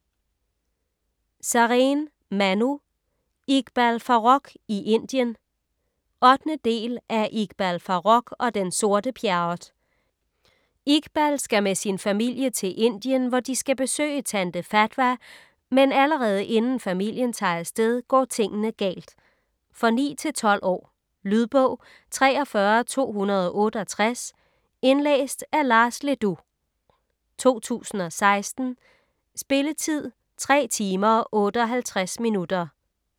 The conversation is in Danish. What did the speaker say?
Sareen, Manu: Iqbal Farooq i Indien 8. del af Iqbal Farooq og den sorte Pjerrot. Iqbal skal med sin familie til Indien, hvor de skal besøge tante Fatwa, men allerede inden familien tager afsted går tingene galt. For 9-12 år. Lydbog 43268 Indlæst af Lars Le Dous, 2016. Spilletid: 3 timer, 58 minutter.